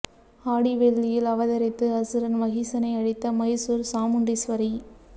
ஆடி வெள்ளியில் அவதரித்து அசுரன் மஹிசனை அழித்த மைசூர் சாமுண்டீஸ்வரி